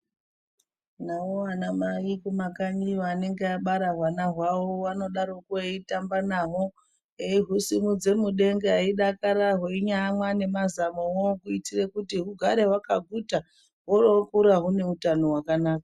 Navo anamai kumakanyiyo anenge abara hwana hwavo anodaroko eiitamba nahwo. Eihusimudza mudenga eidakara einyamwa nemazamuvo. Kuitire kuti hugare hwakaguta oro vokura hune utano hwakanaka.